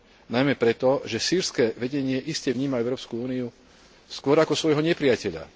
Najmä preto, že sýrske vedenie iste vníma Európsku úniu skôr ako svojho nepriateľa.